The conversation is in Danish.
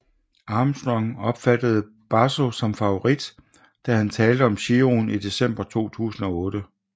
Armstrong opfattede Basso som favorit da han talte om Giroen i december 2008